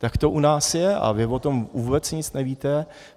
Tak to u nás je a vy o tom vůbec nic nevíte.